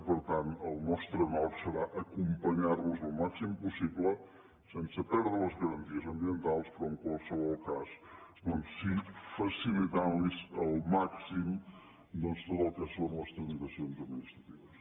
i per tant el nostre nord serà acompanyar los al màxim possible sense perdre les garanties ambientals però en qualsevol cas doncs sí facilitant los al màxim tot el que són les tramitacions administratives